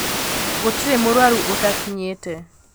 Gũtirĩmũrwaru ũtakinyite.